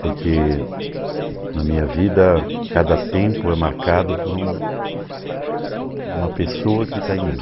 Porque na minha vida, cada tempo é marcado por um uma pessoa que está em mim.